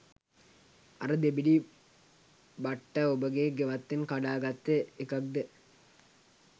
අර දෙබිඩි බට්ටඔබගෙ ගෙවත්තෙන් කඩා ගත්ත එකක්ද?